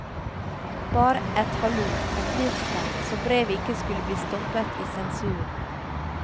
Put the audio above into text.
Bare et hallo, et livstegn, så brevet ikke skulle bli stoppet i sensuren.